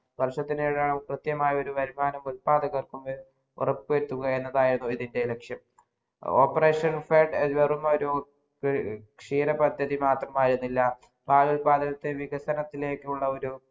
വർഷത്തിൽ ഒരു കൃത്യമായ ഒരു വരുമാനം കിട്ടാതെ വരുത്താതിരിക്കുക്ക എന്ന് ഉറപ്പു വരുത്തുകയാണ് ലക്ഷ്യം operation flood എന്നൊരു ക്ഷീത പദ്ധതി മാത്രമിരുന്നില്ല പാൽ ഉത്പാതനത്തിലേ വികസനത്തിലേക്കുള്ള ഒരു